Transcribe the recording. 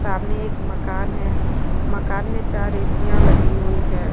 सामने एक मकान है मकान में चार एसीयां लगी हुई हैं।